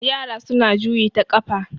yara suna juyi ta kafa